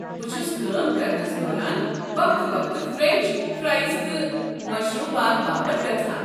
بہٕ چھُس كٲم كرنہس دوران وقتہٕ وقتہٕ فرٛٮ۪نٛچ فرایز تہٕ مشروُبات باپت گژھان۔